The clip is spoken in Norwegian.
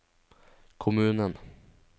kommunen